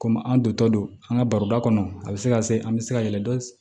Komi an dontɔ don an ka baroda kɔnɔ a bɛ se ka se an bɛ se ka yɛlɛ dɔ